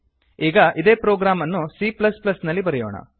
ಈಗ ಇದೇ ಪ್ರೊಗ್ರಾಮ್ ಅನ್ನು c ನಲ್ಲಿ ಬರೆಯೋಣ